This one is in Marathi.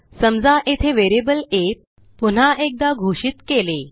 समजा येथे व्हेरिएबल आ पुन्हा एकदा घोषित केले